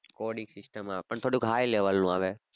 coding system આવે પણ થોડું high level નું આવે.